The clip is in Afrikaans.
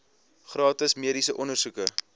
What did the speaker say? gratis mediese ondersoeke